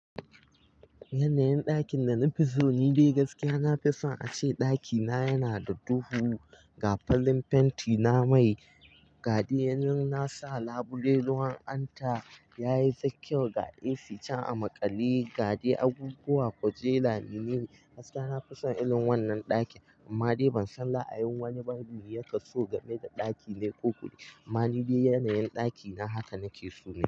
Yanayin ɗakin da na fi so ni dai gaskiya na fi son a ce ɗakina yana da duhu. Ga farin fenti na mai, ga dai nan na sa labule ruwan anta, ya yi fa kyau ga AC can a maƙali, gaɗe abubuwa kwajela menene. Gaskiya na fi son irin wannan ɗakin amma dai ban san ra'ayin wani ba ya kaso game da ɗaki mai duhu. Amma ni dai yanayin ɗakina haka nake so nayi.